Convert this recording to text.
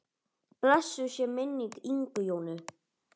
Blessuð sé minning Ingu Jónu.